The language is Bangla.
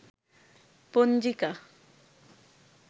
পঞ্জিকা